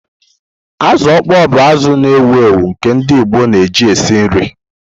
Azu okpoo bụ azụ na-ewu ewu nke ndị Igbo na eji esi nri.